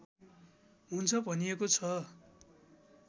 हुन्छ भनिएको छ